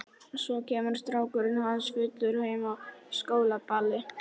Svo kemur strákurinn hans fullur heim af skólaballi.